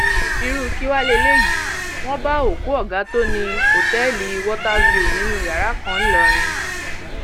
irú kí wàá lélẹyìí wọn bá òkú ọgá tó ní um òtẹẹlì water view nínú yàrá kan ńlọrọrìn um